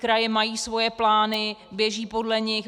Kraje mají svoje plány, běží podle nich.